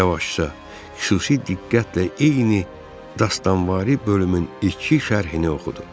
Yavaşca xüsusi diqqətlə eyni dastanvari bölümün iki şərhini oxudu.